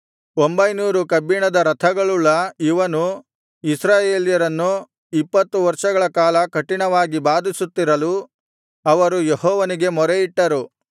ಒಂಭೈನೂರು ಕಬ್ಬಿಣದ ರಥಗಳುಳ್ಳ ಇವನು ಇಸ್ರಾಯೇಲ್ಯರನ್ನು ಇಪ್ಪತ್ತು ವರ್ಷಗಳ ಕಾಲ ಕಠಿಣವಾಗಿ ಬಾಧಿಸುತ್ತಿರಲು ಅವರು ಯೆಹೋವನಿಗೆ ಮೊರೆಯಿಟ್ಟರು